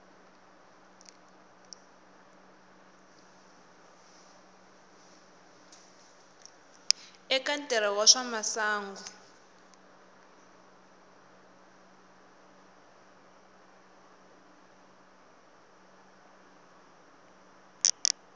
eka ntirho wa swa masangu